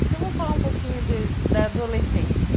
Então vamos falar um pouquinho de da adolescência.